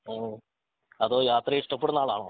ഓഹ് അതോ യാത്രയെ ഇഷ്ടപ്പെടുന്ന ആളാണോ